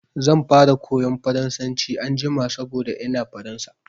Zan fara koyan Faransanci anjima saboda ina Faransa.